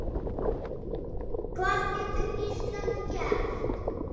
Hvað getur Ísland gert?